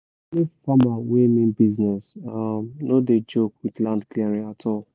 any farmer wey mean business no dey joke with land clearing at all